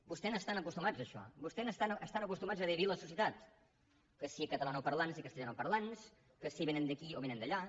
vostès hi estan acostumats a això vostès estan acostumats a dividir al societat que si catalanoparlants i castellanoparlants que si vénen d’aquí o vénen d’allà